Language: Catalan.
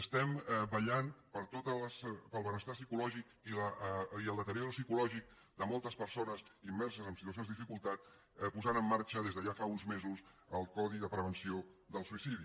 estem vetllant pel benestar psicològic i el deteriorament psicològic de moltes persones immerses en situacions de dificultat posant en marxa des de ja fa uns mesos el codi de prevenció del suïcidi